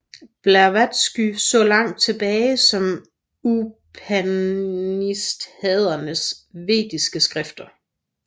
Blavatsky så langt tilbage som Upanishadernes vediske skrifter